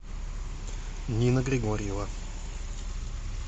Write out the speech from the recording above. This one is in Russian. нина григорьева